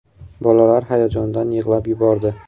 Bolalar hayajondan yig‘lab yubordi.